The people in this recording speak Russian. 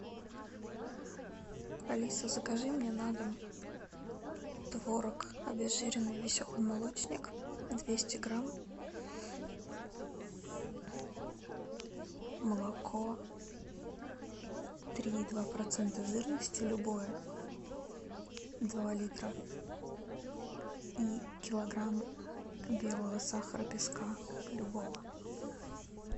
алиса закажи мне на дом творог обезжиренный веселый молочник двести грамм молоко три и два процента жирности любое два литра и килограмм белого сахара песка любого